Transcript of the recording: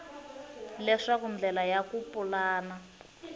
leswaku ndlela ya ku pulana